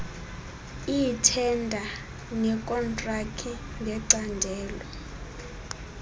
iithenda nekhontraki ngecandelo